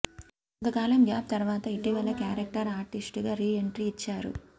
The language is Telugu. కొంత కాలం గ్యాప్ తర్వాత ఇటివలే క్యారెక్టర్ ఆర్టిస్ట్ గా రీ ఎంట్రీ ఇచ్చారు